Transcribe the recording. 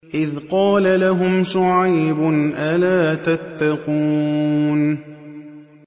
إِذْ قَالَ لَهُمْ شُعَيْبٌ أَلَا تَتَّقُونَ